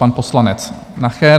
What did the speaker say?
Pan poslanec Nacher.